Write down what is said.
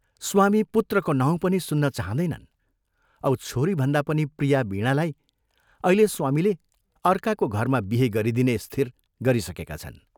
स्वामी पुत्रको नाउँ पनि सुन्न चाहँदैनन् औ छोरीभन्दा पनि प्रिया वीणालाई अहिले स्वामीले अर्काको घरमा बिहे गरिदिने स्थिर गरिसकेका छन्।